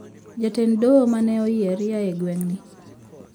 Jatend doho mane oyier ya e gweng` ni